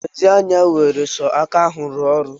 Lezi anya nwere sọ aka ahụ rụọ ọrụ.